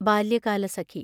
Balyakalasakhi